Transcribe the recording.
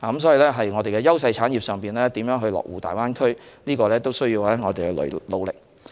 所以，我們的優勢產業如何落戶大灣區有賴我們的努力。